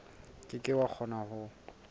ke ke wa kgona ho